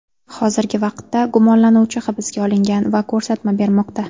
Hozirgi vaqtda gumonlanuvchi hibsga olingan va ko‘rsatma bermoqda.